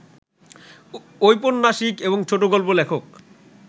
ঔপন্যাসিক এবং ছোটগল্প লেখক